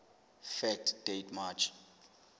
fact date march